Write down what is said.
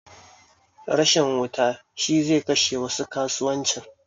Rashin wuta shi zai kashe wasu kasuwanci